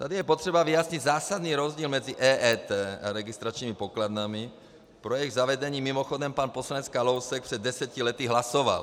Tady je potřeba vyjasnit zásadní rozdíl mezi EET a registračními pokladnami, pro jejichž zavedení mimochodem pan poslanec Kalousek před deseti lety hlasoval.